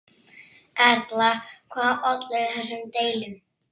Erla, hvað olli þessum deilum?